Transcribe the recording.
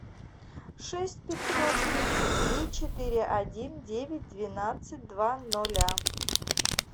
шесть пятьсот тридцать три четыре один девять двенадцать два ноля